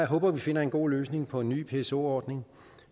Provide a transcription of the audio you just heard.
håber at vi finder en god løsning på en ny pso ordning